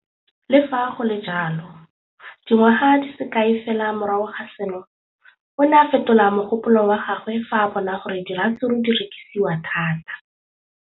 Le fa go le jalo, dingwaga di se kae fela morago ga seno, o ne a fetola mogopolo wa gagwe fa a bona gore diratsuru di rekisiwa thata.